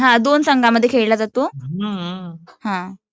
हां दोन संघांमध्ये खेळला जातो